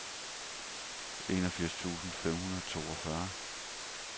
enogfirs tusind fem hundrede og toogfyrre